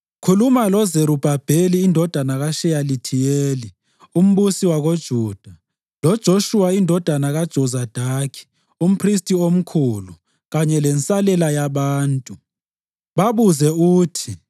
“Khuluma loZerubhabheli indodana kaSheyalithiyeli, umbusi wakoJuda, loJoshuwa indodana kaJozadaki, umphristi omkhulu kanye lensalela yabantu. Babuze uthi,